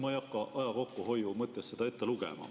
Ma ei hakka aja kokkuhoiu mõttes seda kõike ette lugema.